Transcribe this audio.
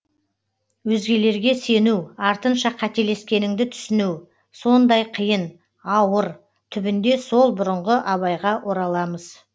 өзгелерге сену артынша қателескеніңді түсіну сондай қиын ауыр түбінде сол бұрынғы абайға ораламыз